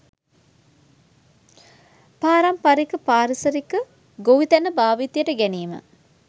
පාරමිපරික පාරිසරික ගොවිතැන භාවිතයට ගැනීම